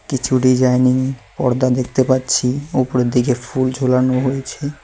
কিছু ডিজাইনিং পর্দা দেখতে পাচ্ছি ওপরের দিকে ফুল ঝোলানো হয়েছে।